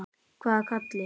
Hvaða Kalli?